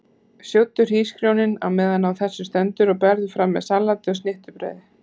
Sjóddu hrísgrjónin á meðan á þessu stendur og berðu fram með salati og snittubrauði.